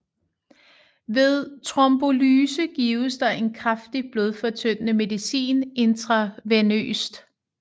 Ved trombolyse gives der en kraftig blodfortyndende medicin intravenøst